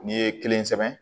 N'i ye kelen sɛbɛn